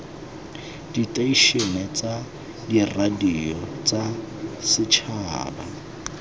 diteišene tsa diradio tsa setšhaba